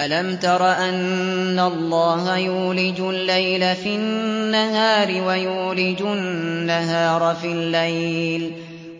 أَلَمْ تَرَ أَنَّ اللَّهَ يُولِجُ اللَّيْلَ فِي النَّهَارِ وَيُولِجُ النَّهَارَ فِي اللَّيْلِ